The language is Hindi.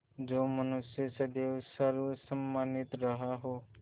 जो मनुष्य सदैव सर्वसम्मानित रहा हो